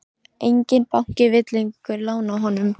Enginn banki vill lengur lána honum.